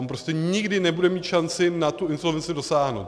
On prostě nikdy nebude mít šanci na tu insolvenci dosáhnout.